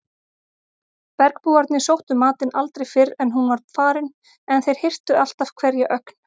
Bergbúarnir sóttu matinn aldrei fyrr en hún var farin en þeir hirtu alltaf hverja ögn.